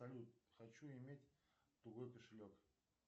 салют хочу иметь тугой кошелек